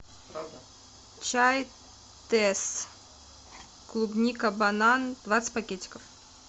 чай тесс клубника банан двадцать пакетиков